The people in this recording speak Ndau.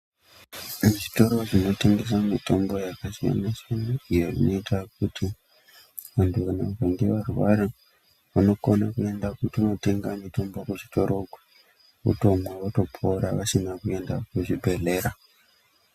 Muzvitoro zvinotengese mitombo yakasiyana siyana inoita kuti vanthu vakange varwaravanokona kutoenda kootenga mitombo kuchitoro votomwa votopora vasina kuenda kuzvibhedhlera.